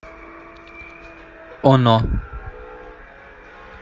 оно